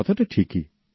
কথাটা ঠিকই